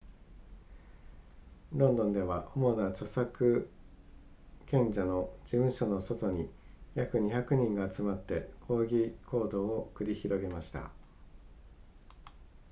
ロンドンでは主な著作権者の事務所の外に約200人が集まって抗議行動を繰り広げました